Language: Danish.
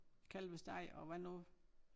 Kalvesteg og hvad nu